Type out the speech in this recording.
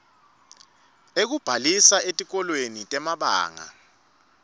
ekubhalisa etikolweni temabanga